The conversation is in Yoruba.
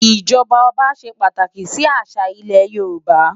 ijọba ọba ṣé pàtáki si àṣá ilè Yoruba